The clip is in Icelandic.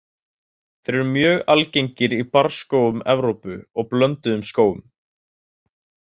Þeir eru mjög algengir í barrskógum Evrópu og blönduðum skógum.